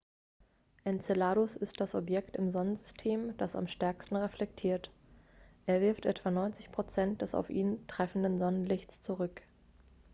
enceladus ist das objekt im sonnensystem das am stärksten reflektiert er wirft etwa 90 prozent des auf ihn treffenden sonnenlichts zurück